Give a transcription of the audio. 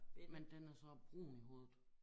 Men den er så brun i hovedet